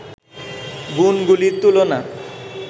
গুণগুলির তুলনা